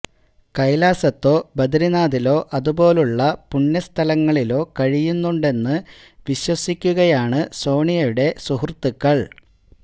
കൈലാസത്തോ ബദരീനാഥിലോ അതുപോലുള്ള പുണ്യ സ്ഥലങ്ങളിലോ കഴിയുന്നുണ്ടെന്ന് വിശ്വസിക്കുകയാണ് സോണിയുടെ സുഹൃത്തുക്കൾ